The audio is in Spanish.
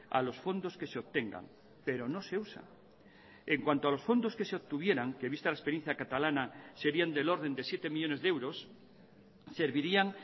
a los fondos que se obtengan pero no se usa en cuanto a los fondos que se obtuvieran que vista la experiencia catalana serían del orden de siete millónes de euros servirían